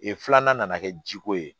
filanan nana kɛ jiko ye